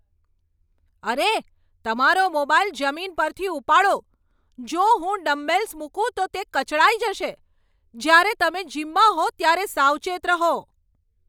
અરે, તમારો મોબાઈલ જમીન પરથી ઉપાડો, જો હું ડમ્બેલ્સ મૂકું તો તે કચડાઈ જશે, જ્યારે તમે જીમમાં હો ત્યારે સાવચેત રહો.